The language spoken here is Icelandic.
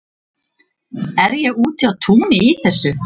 Er ég úti á túni í þessu?